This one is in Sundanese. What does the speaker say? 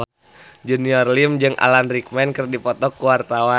Junior Liem jeung Alan Rickman keur dipoto ku wartawan